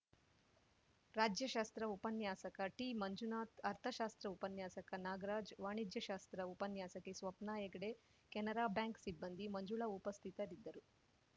ರಾಜ್ಯಶಾಸ್ತ್ರ ಉಪನ್ಯಾಸಕ ಟಿಮಂಜುನಾಥ್‌ ಅರ್ಥಶಾಸ್ತ್ರ ಉಪನ್ಯಾಸಕ ನಾಗರಾಜ್‌ ವಾಣಿಜ್ಯಶಾಸ್ತ್ರ ಉಪನ್ಯಾಸಕಿ ಸ್ವಪ್ನ ಹೆಗಡೆ ಕೆನರಾ ಬ್ಯಾಂಕ್‌ ಸಿಬ್ಬಂದಿ ಮಂಜುಳಾ ಉಪಸ್ಥಿತರಿದ್ದರು